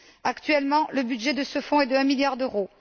Actuellement, le budget de ce fonds est d'un milliard d'euros.